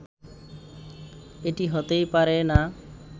এটি হতেই পারে না